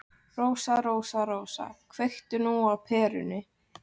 Rósa, Rósa, Rósa, kveiktu nú á perunni.